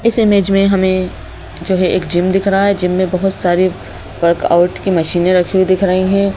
इस इमेज में हमें जो है एक जिम दिख रहा है जिम में बहोत सारे वर्कआउट की मशीने रखी हुई देख रही हैं।